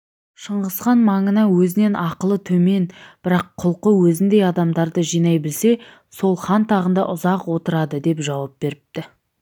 шыңғысхан маңына өзінен ақылы төмен бірақ құлқы өзіндей адамдарды жинай білсе сол хан тағында ұзақ отырадыдеп жауап беріпті